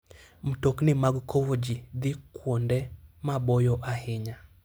Mtokni mag kowo ji dhi kuonde maboyo ahinya.